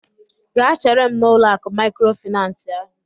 Gaa chere m n'ụlọ akụ maịkrofaịnans ahụ!